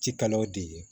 Ci kalaw de ye